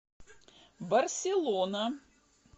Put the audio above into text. барселона